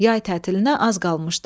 Yay tətiliyə az qalmışdı.